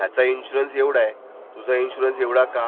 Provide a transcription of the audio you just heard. Cost होते ती असते ऑन रोड कॉस्ट.